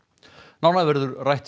nánar verður rætt við